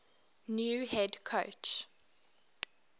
new head coach